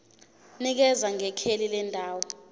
nikeza ngekheli lendawo